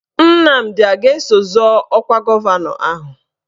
Nnamdi a ga-eso zọọ ọkwa gọvanọ ahụ?